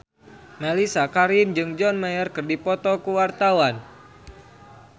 Mellisa Karim jeung John Mayer keur dipoto ku wartawan